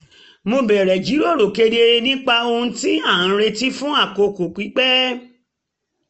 mo bẹ̀rẹ̀ jíròrò kedere nípa ohun tí a ń retí fún àkókò pípẹ́